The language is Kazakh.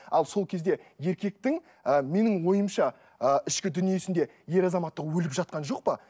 ал сол кезде еркектің і менің ойымша ы ішкі дүниесінде ер азаматтық өліп жатқан жоқ па